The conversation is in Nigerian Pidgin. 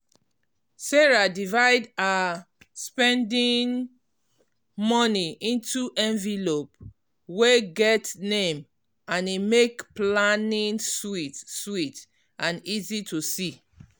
sarah divide her spending money into envelope wey get name and e make planning sweet sweet and easy to see.